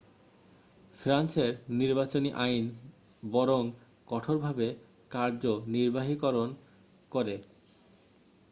ফ্রান্সের নির্বাচনী আইন বরং কঠোরভাবে কার্যনির্বাহীকরণ করে